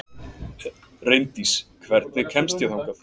Reyndís, hvernig kemst ég þangað?